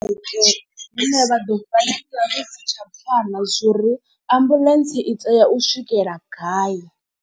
Hune vha ḓo vha si tsha pfana zwo uri ambuḽentse i tea u swikela gai.